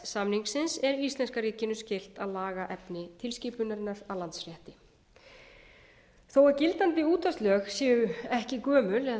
samningsins er íslenska ríkinu skylt að laga efni tilskipunarinnar að landsrétti þó að gildandi útvarpslög séu ekki gömul eða